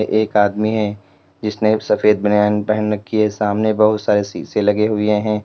एक आदमी है जिसने सफेद बनियान पहन रखी है सामने बहुत सारे शीशे लगे हुए हैं।